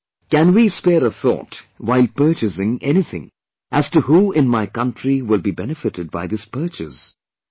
" Can we spare a thought while purchasing anything as to who in my country will be benefitted by this purchase